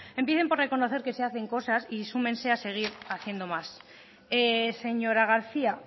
empiecen por reconocer que se hacen cosas y súmense a seguir haciendo más señora garcía